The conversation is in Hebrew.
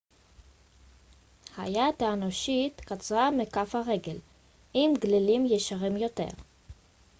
היד האנושית קצרה מכף הרגל עם גלילים ישרים יותר